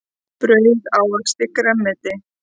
Brauð ávexti grænmeti.